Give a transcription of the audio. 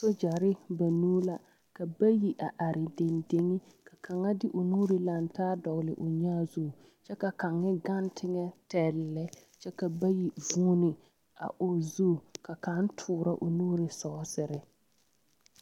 Soogyɛre banuu la ka bayi are dendeŋ ka kaŋa de o nuuri laŋ taa dɔgle o nyãã zu kyɛ ka kaŋ gaŋ teŋɛtɛle lɛ kyɛ ka bayi vuuni a o zu ka kaŋ toorɔ o nuuri ne sɔɔsere.